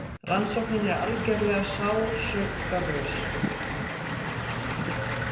Rannsóknin er algerlega sársaukalaus.